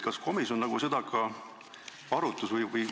Kas komisjon seda ka arutas?